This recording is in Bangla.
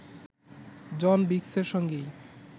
জন বিগসের সঙ্গেই